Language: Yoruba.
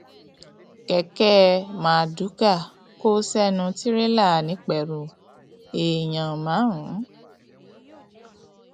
kẹkẹ mardukâ kò sẹnu tìrẹlà nìpẹrù èèyàn márùn